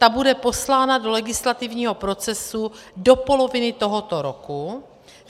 Ta bude poslána do legislativního procesu do poloviny tohoto roku.